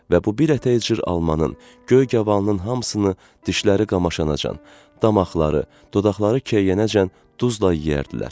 Və bu bir ətəy cır almanın, göy qavalının hamısını dişləri qamaşanacan, damaqları, dodaqları keyiyənəcən duzla yeyərdilər.